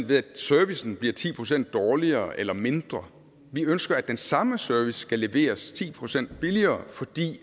ved at servicen bliver ti procent dårligere eller mindre vi ønsker at den samme service skal leveres ti procent billigere fordi